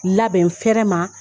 Labɛn n fɛrɛ ma.